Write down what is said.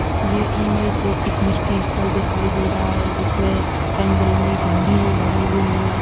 ये इमेज है इसमें दिखाई दे रहा है जिसमें रंग-बिरंगी झंडियाँ लगी हुई हैं।